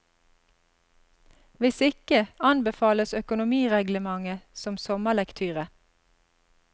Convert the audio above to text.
Hvis ikke, anbefales økonomireglementet som sommerlektyre.